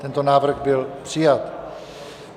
Tento návrh byl přijat.